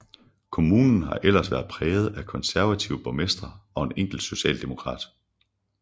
Kommunen har ellers været præget af konservative borgmestre og en enkelt socialdemokrat